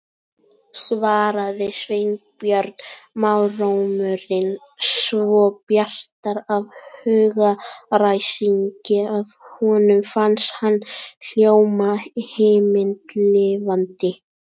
svaraði Sveinbjörn, málrómurinn svo bjartur af hugaræsingi að honum fannst hann hljóma himinlifandi.